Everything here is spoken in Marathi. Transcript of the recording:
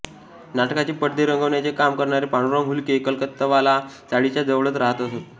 नाटकाचे पडदे रंगवण्याचे काम करणारे पांडुरंग हुले कलकत्तावाला चाळीच्या जवळच रहात असत